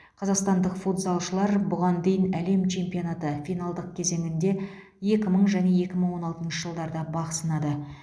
қазақстандық футзалшылар бұған дейін әлем чемпионаты финалдық кезеңінде екі мың және екі мың он алтыншы жылдарда бақ сынады